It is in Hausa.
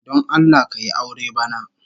Don Allah ka yi aure bana